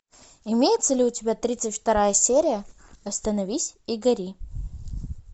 имеется ли у тебя тридцать вторая серия остановись и гори